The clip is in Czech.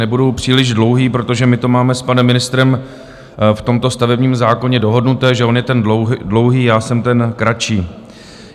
Nebudu příliš dlouhý, protože my to máme s panem ministrem v tomto stavebním zákoně dohodnuté, že on je ten dlouhý, já jsem ten kratší.